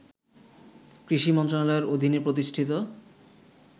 কৃষি মন্ত্রণালয়ের অধীনে প্রতিষ্ঠিত